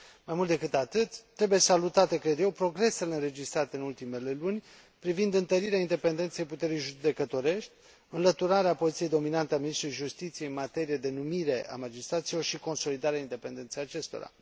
Mai mult decât atât, trebuie salutate, cred eu, progresele înregistrate în ultimele luni privind întărirea independenței puterii judecătorești, înlăturarea poziției dominante a ministrului Justiției în materie de numire a magistraților și consolidarea independenței acestora.